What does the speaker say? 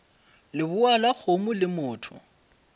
lebowa la kgomo le motho